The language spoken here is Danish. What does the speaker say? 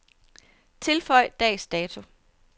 Tilføj dags dato.